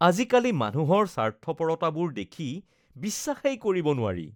আজিকালি মানুহৰ স্বাৰ্থপৰতাবোৰ দেখি বিশ্বাসেই কৰিব নোৱাৰি